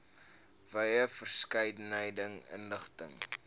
wye verskeidenheid inligting